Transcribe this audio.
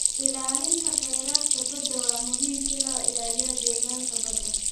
Ilaalinta kheyraadka badda waa muhiim si loo ilaaliyo deegaanka badda.